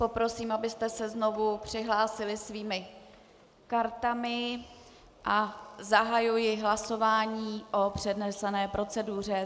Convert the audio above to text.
Poprosím, abyste se znovu přihlásili svými kartami, a zahajuji hlasování o přednesené proceduře.